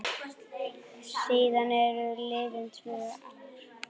Síðan eru liðin tvö ár.